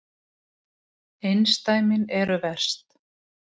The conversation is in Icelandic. Einsdæmin eru verst.